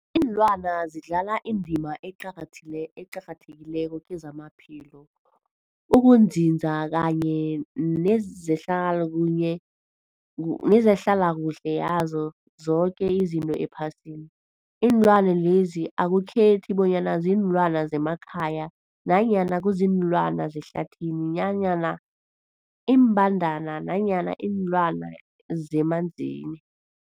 Ilwana zidlala indima eqakathethile eqakathekileko kezamaphilo, ukunzinza kanye nezehlala kuhle nezehlala kuhle yazo zoke izinto ephasini. Iinlwana lezi akukhethi bonyana ziinlwana zemakhaya nanyana kuziinlwana zehlathini nanyana iimbandana nanyana iinlwana zemanzini.